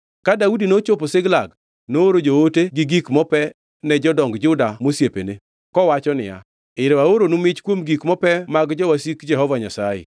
Ka Daudi nochopo Ziklag nooro joote gi gik mope ne jodong Juda mosiepene, kowacho niya, “Ero aoronu mich kuom gik mope mag jowasik Jehova Nyasaye.”